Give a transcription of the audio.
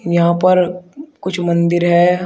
यहां पर कुछ मंदिर है।